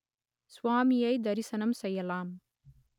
சுவாமியை தரிசனம் செய்யலாம்